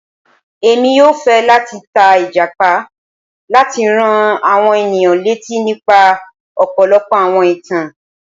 Èmi yóò fẹ lati ta Ìjàpá láti rán àwọn ènìyàn létí nípa ọpọlọpọ àwọn ìtàn.